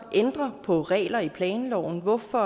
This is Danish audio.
ændre på regler i planloven hvorfor